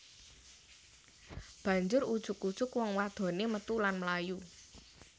Banjur ujug ujug wong wadoné metu lan mlayu